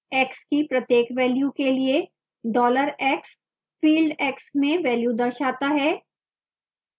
x की प्रत्येक value के लिए $x dollar x field x में value दर्शाता है